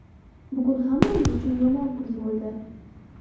Bugun hammamiz uchun yomon kun bo‘ldi.